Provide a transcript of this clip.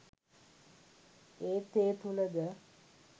ඒත් ඒ තුළද